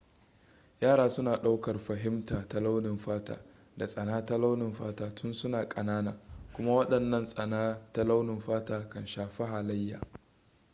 yara suna ɗaukar fahimta ta launin fata da tsana ta launin fata tun suna ƙanana kuma waɗannan tsana ta launin fata kan shafi halayya